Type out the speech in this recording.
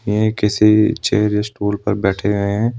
में किसी chair stool पर बैठे आए हैं।